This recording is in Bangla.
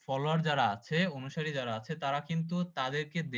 Follower যারা আছে অনুসারী যারা আছে তারা কিন্তু তাদের কে